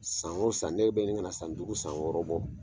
San o san ne bɛ ɲini ka na san duugu san wɔɔrɔ bɔ.